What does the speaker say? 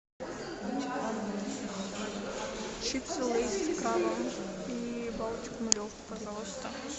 чипсы лейс с крабом и балтику нулевку пожалуйста